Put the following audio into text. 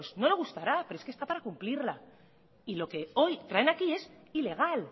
no le gustará pero es que está para cumplirla y lo que hoy traen aquí es ilegal